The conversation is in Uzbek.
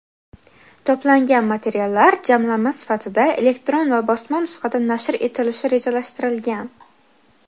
To‘plangan materiallar jamlanma sifatida elektron va bosma nusxada nashr etilishi rejalashtirilgan.